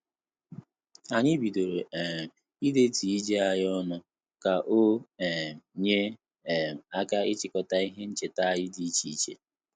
Anyị bidoro um idetu ije anyị ọnụ, ka o um nye um aka ịchịkọta ihe ncheta anyị dị iche iche